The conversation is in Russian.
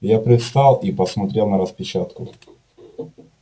я привстал и посмотрел на распечатку